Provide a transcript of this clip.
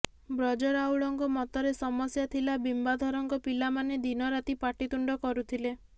ବ୍ରଜ ରାଉଳଙ୍କ ମତରେ ସମସ୍ୟା ଥିଲା ବିମ୍ୱାଧରଙ୍କ ପିଲାମାନେ ଦିନରାତି ପାଟିତୁଣ୍ଡ କରୁଥିଲେ